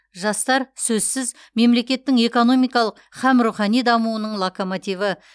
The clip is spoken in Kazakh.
жастар сөзсіз мемлекеттің экономикалық һәм рухани дамуының локомативі